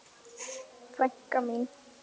Frænka mín.